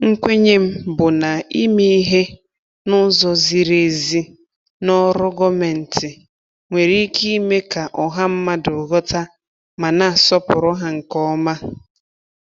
Nkwenye m bụ na ime ìhè n'ụzọ ziri ezi n'ọrụ gọọmentị nwere ike ime ka ọha mmadụ ghọta ma na-asọpụrụ ha nke ọma.